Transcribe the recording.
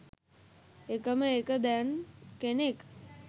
එකම එක දැන් කෙනෙක්